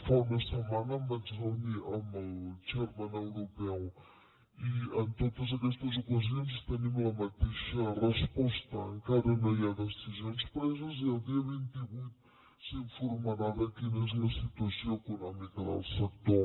fa una setmana em vaig reunir amb el chairman europeu i en totes aquestes ocasions tenim la mateixa resposta encara no hi ha decisions preses i el dia vint vuit s’informarà de quina és la situació econòmica del sector